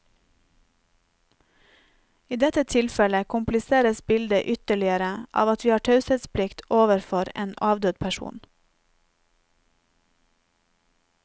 I dette tilfellet kompliseres bildet ytterligere av at vi har taushetsplikt overfor en avdød person.